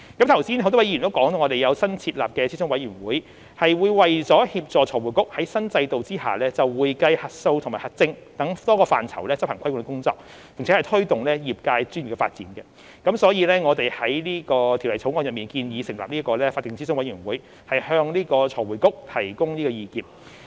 剛才很多位議員也提到，我們有新設立的諮詢委員會，是為了協助財匯局在新制度下就會計、核數和核證等多個範疇執行規管工作，並推動業界專業的發展，所以我們已在《條例草案》中建議成立法定諮詢委員會，向財匯局提供意見。